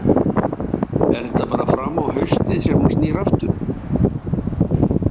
Er þetta bara fram á haustið sem hún snýr aftur?